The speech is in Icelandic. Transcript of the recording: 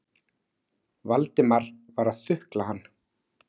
Valdimar var að þukla hann.